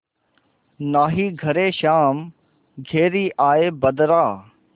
नाहीं घरे श्याम घेरि आये बदरा